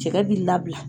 Cɛkɛ b'i labila